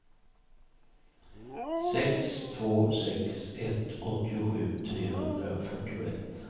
sex två sex ett åttiosju trehundrafyrtioett